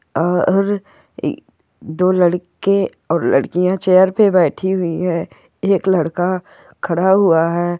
आ और दो लड़के और लडकिया चेयर पे बैठे हुई है एक लडका खड़ा हुआ है।